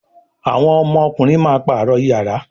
àwọn ọmọkunrin má parọ iyàrá